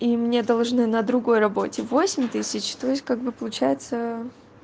и мне должны на другой работе восемь тысяч то есть как бы получается